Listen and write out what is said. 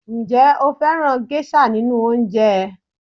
Ǹjẹ́ ó fẹ́ràn gẹ́ṣà nínú oúnjẹ ẹ